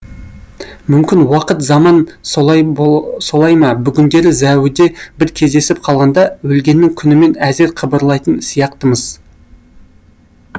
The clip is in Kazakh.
мүмкін уақыт заман солай ма бүгіндері зәуіде бір кездесіп қалғанда өлгеннің күнімен әзер қыбырлайтын сияқтымыз